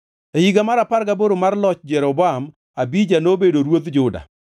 E higa mar apar gaboro mar loch Jeroboam, Abija nobedo ruodh Juda,